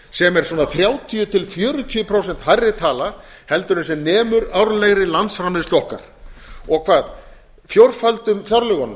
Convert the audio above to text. sem er svona þrjátíu til fjörutíu prósent hærri tala en sem nemur árlegri landsframleiðslu okkar og fjórföldum fjárlögunum